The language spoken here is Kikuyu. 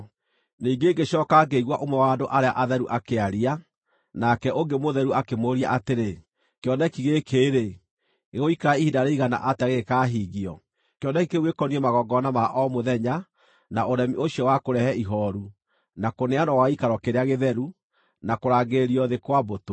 Ningĩ ngĩcooka ngĩigua ũmwe wa andũ arĩa atheru akĩaria, nake ũngĩ mũtheru akĩmũũria atĩrĩ, “Kĩoneki gĩkĩ-rĩ, gĩgũikara ihinda rĩigana atĩa gĩgĩkahingio: kĩoneki kĩu gĩkoniĩ magongona ma o mũthenya, na ũremi ũcio wa kũrehe ihooru, na kũneanwo gwa gĩikaro kĩrĩa gĩtheru, na kũrangĩrĩrio thĩ kwa mbũtũ?”